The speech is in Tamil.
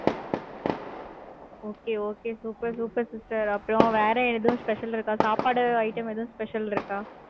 okay okay super super sister அப்புறம், வேற எதுவும் special இருக்கா? சாப்பாடு item எதுவும், special இருக்கா?